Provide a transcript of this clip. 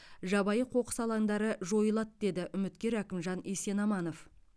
жабайы қоқыс алаңдары жайылады деді үміткер әкімжан есенаманов